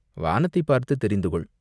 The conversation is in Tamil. "வானத்தைப் பார்த்துத் தெரிந்து கொள்.